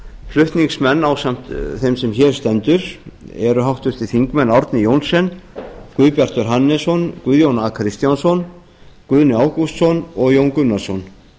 flutningsmenn ásamt þeim sem hér stendur eru háttvirtir þingmenn árni johnsen guðbjartur hannesson guðjón a kristjánsson guðni ágústsson og jón gunnarsson